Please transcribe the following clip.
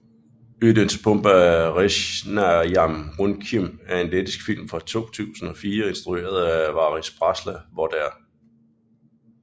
Ūdensbumba resnajam runcim er en lettisk film fra 2004 instrueret af Varis Brasla hvor der